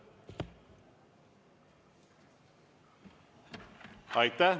Aitäh!